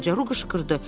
Balaca Ru qışqırdı.